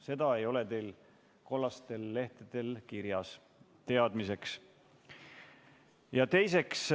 Seda ei ole teil kollastel lehtedel kirjas, teadmiseks.